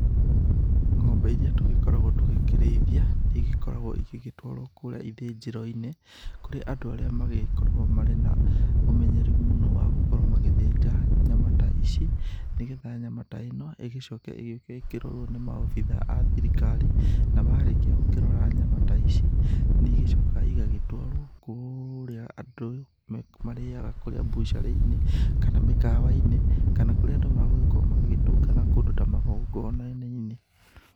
Ng'ombe iria tũgĩkoragwo tũgĩkĩrĩithia nĩ igĩkoragwo igĩgĩtwarwo kũrĩa ithĩnjĩro-inĩ kũrĩ andũ arĩa magĩkoragwo marĩ na ũmenyereri mũno wa gũkorwo magĩthĩnja nyama ta ici, nĩgetha nyama ta ĩno ĩgĩcoke igĩũke ĩkĩrorwo nĩ maabithaa a thirikari, na marĩkia gũkĩrora nyama ta ici nĩ igĩcokaga igagĩtwarwo kũrĩa andũ marĩaga kũrĩa bucarĩ-inĩ, kana mĩkawainĩ kana kũrĩa andũ magũgĩkorwo magĩtũngana kũndũ ta magongona-inĩ.